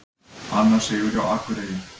Annar sigur hjá Akureyri